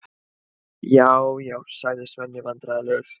Já, já, segir Svenni vandræðalegur.